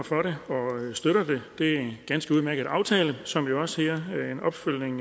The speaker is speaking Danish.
for det og støtter det det er en ganske udmærket aftale som jo også er en opfølgning